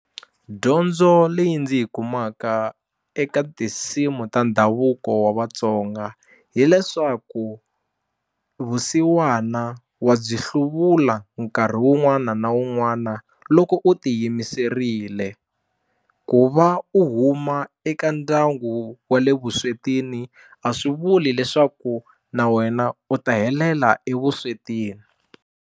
Dyondzo leyi ndzi yi kumaka eka tinsimu ta ndhavuko wa Vatsonga hileswaku vusiwana wa byi hluvula nkarhi wun'wana na wun'wana loko u tiyimiserile ku va u huma eka ndyangu wa le vuswetini a swi vuli leswaku na wena u ta helela evuswetini.